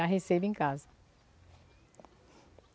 Já recebo em casa.